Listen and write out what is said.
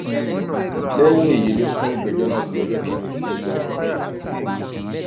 lẹyìn èyí ló sún ìgbẹjọ náà sí ọjọ kìnínní oṣù kẹsànán ọdún yìí